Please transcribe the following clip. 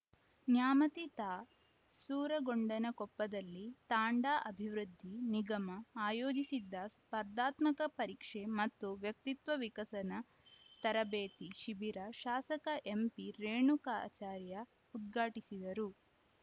ನ್ಯಾಮತಿ ತಾ ಸೂರಗೊಂಡನಕೊಪ್ಪದಲ್ಲಿ ತಾಂಡಾ ಅಭಿವೃದ್ಧಿ ನಿಗಮ ಆಯೋಜಿಸಿದ್ದ ಸ್ಪರ್ಧಾತ್ಮಕ ಪರೀಕ್ಷೆ ಮತ್ತು ವ್ಯಕ್ತಿತ್ವ ವಿಕಸನ ತರಬೇತಿ ಶಿಬಿರ ಶಾಸಕ ಎಂಪಿ ರೇಣುಕಾಚಾರ್ಯ ಉದ್ಘಾಟಿಸಿದರು